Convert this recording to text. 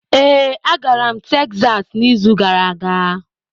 Ee, agara m Tekzas n'izu gara aga.